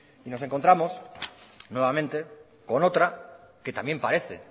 y nos encontramos nuevamente con otra que también parece